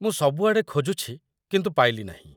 ମୁଁ ସବୁଆଡ଼େ ଖୋଜୁଛି, କିନ୍ତୁ ପାଇଲି ନାହିଁ ।